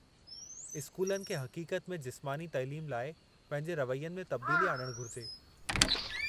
स्कूलनि खे हक़ीक़त में जिस्मानी तइलीम लाइ पंहिंजे रवैयनि में तब्दीली आणणु घुरिजे।